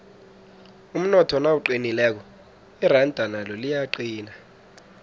umnotho nawuqinileko iranda nalo liyaqina